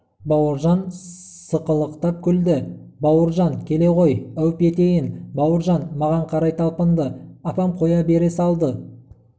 бауыржан сықылықтап күлді бауыржан келе ғой әуп етейін бауыржан маған қарай талпынды апам қоя бере салды